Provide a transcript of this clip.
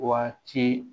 Waati